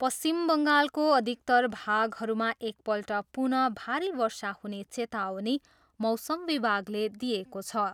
पश्चिम बङ्गालको अधिकतर भागहरूमा एकपल्ट पुनः भारी वर्षा हुने चेतावनी मौसम विभागले दिएको छ।